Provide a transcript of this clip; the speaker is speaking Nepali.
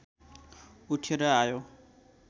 उठेर आयो